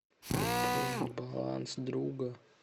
пополнить баланс друга